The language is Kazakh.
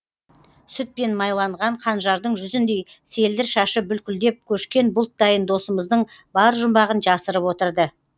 сүтпен майланған қанжардың жүзіндей селдір шашы бүлкілдеп көшкен бұлттайын досымыздың бар жұмбағын жасырып отырды